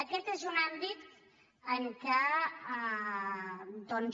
aquest és un àmbit en què doncs